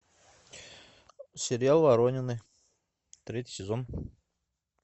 сериал воронины третий сезон